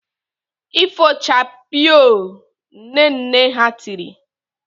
"Ifochakpiiiio" Nne nne ha tiri!